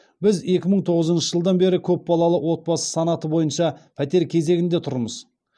біз екі мың тоғызыншы жылдан бері көпбалалы отбасы санаты бойынша пәтер кезегінде тұрмыз